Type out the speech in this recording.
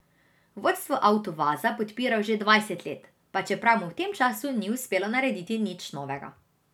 Vodstvo Avtovaza podpirajo že dvajset let, pa čeprav mu v tem času ni uspelo narediti nič novega.